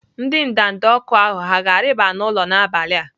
Ndị ndanda ọkụ ahụ hà ga-arịba n'ụlọ n'abalị a?